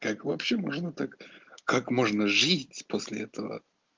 как вообще можно так как можно жить после этого